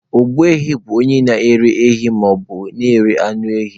Ogbu ehi bụ onye na-ere ehi maọbụ onye na-ere anụ ehi.